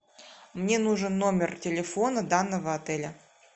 мне нужен номер телефона данного отеля